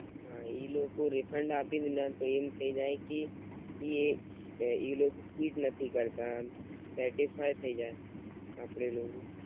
હમ ઈ લોકો refund આપે ભી ના તો એમ થાય જાય કી કી ઈ લોકો જ નથી કરતા આમ સેફ્ટિ થઈ જાય આપડે પેલું